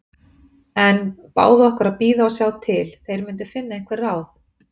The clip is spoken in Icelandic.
En báðu okkur að bíða og sjá til. þeir myndu finna einhver ráð.